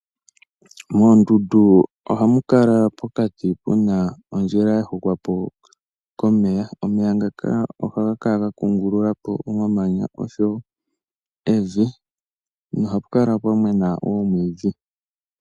Moondunda ohamu kala pokati puna ondjila ya hokwapo komeya. Omeya ngaaka ohaga kala ga kungululapo omamanya oshowo evi nohapu kala pwa mena omwiidhi.